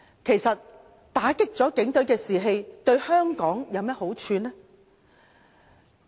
其實打擊警隊士氣對香港有何好處呢？